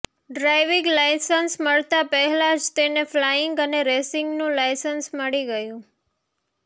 driving licence મળતા પહેલા જ તેને ફલાઇંગ અને રેસિંગનું લાઇસન્સ મળી ગયું